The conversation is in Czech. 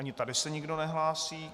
Ani tady se nikdo nehlásí.